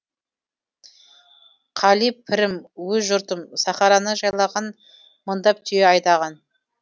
қали пірім өз жұртым сахараны жайлаған мыңдап түйе айдаған